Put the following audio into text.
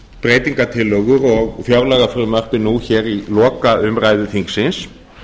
breytingartillögur og fjárlagafrumvarpið nú hér í lokaumræðu þingsins